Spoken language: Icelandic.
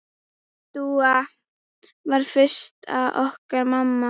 Dúa varð fyrst okkar mamma.